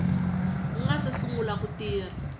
nga si sungula ku tirha